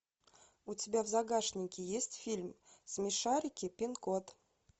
у тебя в загашнике есть фильм смешарики пин код